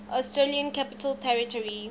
australian capital territory